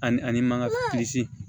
Ani ani maka